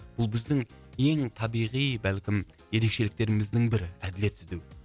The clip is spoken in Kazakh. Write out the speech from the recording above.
бұл біздің ең табиғи бәлкім ерекшеліктеріміздің бірі әділет іздеу